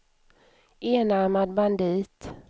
enarmad bandit